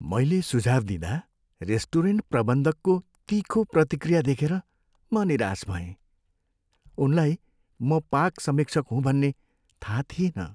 मैले सुझाउ दिँदा रेस्टुरेन्ट प्रबन्धकको तिखो प्रतिक्रिया देखेर म निराश भएँ। उनलाई म पाक समीक्षक हुँ भन्ने थाहा थिएन।